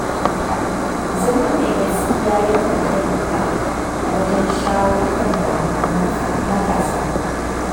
Zama mai gaskiya yakan taimaka wajen shawo kan damuwar matasa.